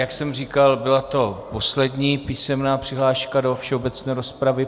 Jak jsem říkal, byla to poslední písemná přihláška do všeobecné rozpravy.